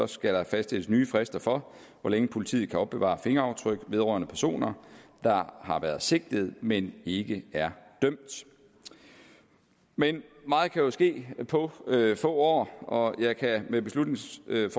skal fastsættes nye frister for hvor længe politiet kan opbevare fingeraftryk vedrørende personer der har været sigtet men ikke er dømt men meget kan jo ske på få år og jeg kan med beslutningsforslaget